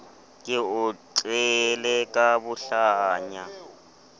ke o tlele ka bohlanya